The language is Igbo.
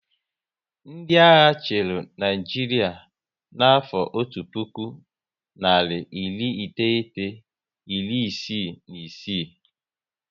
Ndị agha chịrị Naịjiria na afo otu puku, nari iri iteghete, iri isii na isii